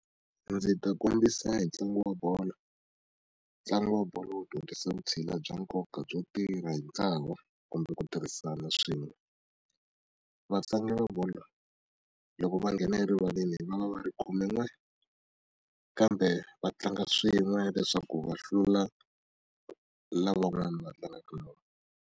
Ndzi ta kombisa hi ntlangu wa bolo ntlangu wa bolo wu dyondzisa vutshila bya nkoka byo tirha hi ntlawa kumbe ku tirhisana swin'we vatlangi va bolo loko va nghena erivaleni va va va ri khumen'we kambe va tlanga swin'we leswaku va hlula lavan'wana va tlangaka na vona.